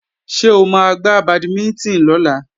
Ṣé o máa gbá bàdímínítìn lọ́la?